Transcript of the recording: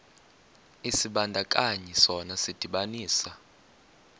isibandakanyi sona sidibanisa